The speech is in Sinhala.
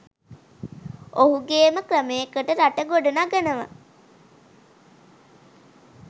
ඔවුගේම ක්‍රමයකට රට ගොඩ නගනව.